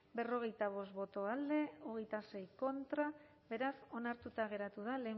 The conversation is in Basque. berrogeita bost boto alde veintiséis contra beraz onartuta geratu da